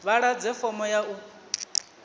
vha ḓadze fomo ya u